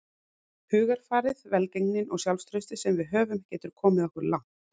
Hugarfarið, velgengnin og sjálfstraustið sem við höfum getur komið okkur langt.